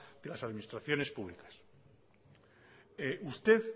de las administraciones públicas usted